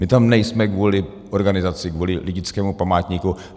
My tam nejsme kvůli organizaci, kvůli lidickému památníku.